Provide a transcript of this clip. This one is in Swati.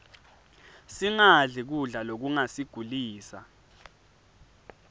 singadli kudla lokungasigulisa